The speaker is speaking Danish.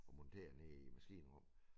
Og monteret nede i æ maskinrum